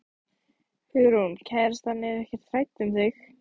Hugrún: Kærastan er ekkert hrædd um þig?